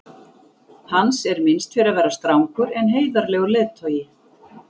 Hans er minnst fyrir að vera strangur en heiðarlegur leiðtogi.